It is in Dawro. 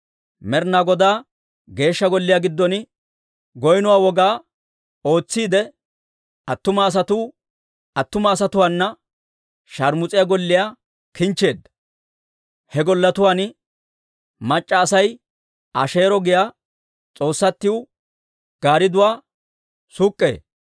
Med'inaa Godaa Geeshsha Golliyaa giddon goynno woga ootsiide, attuma asatuu attuma asatuwaana shaarmus'ettiyaa golliyaa kinchcheedda; he golletuwaan mac'c'a Asay Asheero giyaa s'oossatiw gaaridduwaa suk'k'ee.